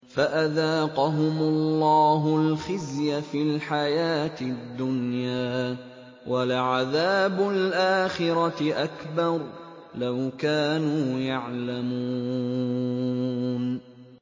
فَأَذَاقَهُمُ اللَّهُ الْخِزْيَ فِي الْحَيَاةِ الدُّنْيَا ۖ وَلَعَذَابُ الْآخِرَةِ أَكْبَرُ ۚ لَوْ كَانُوا يَعْلَمُونَ